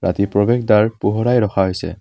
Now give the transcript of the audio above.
ৰাতি প্ৰৱেশদ্বাৰ পোহৰাই ৰখা হৈছে।